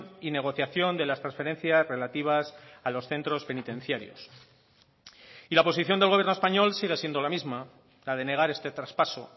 y negociación de las transferencias relativas a los centros penitenciarios y la posición del gobierno español sigue siendo la misma la de negar este traspaso